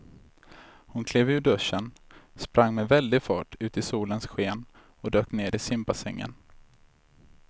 Hon klev ur duschen, sprang med väldig fart ut i solens sken och dök ner i simbassängen.